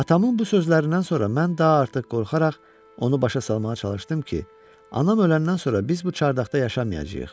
Atamın bu sözlərindən sonra mən daha artıq qorxaraq onu başa salmağa çalışdım ki, anam öləndən sonra biz bu çardaqda yaşamayacağıq.